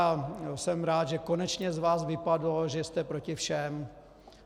A jsem rád, že konečně z vás vypadlo, že jste proti všem.